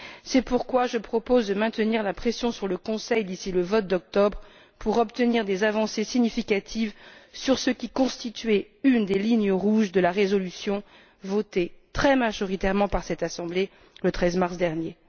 C'est pourquoi je propose de maintenir la pression sur le Conseil, d'ici le vote d'octobre, pour obtenir des avancées significatives sur ce qui constituait une des lignes rouges de la résolution votée très majoritairement par cette Assemblée le 13 mars dernier.